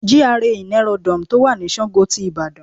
GRA in Aerodome to wà ni Sango ti Ìbàdàn